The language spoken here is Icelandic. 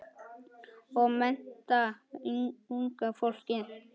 Og mennta unga fólkið.